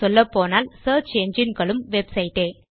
சொல்லப்போனால் செர்ச் எஞ்சின்களும் வெப்சைட் டே160